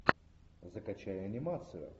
закачай анимацию